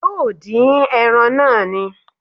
Yóò dín ẹran náà ni